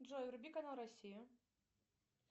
джой вруби канал россия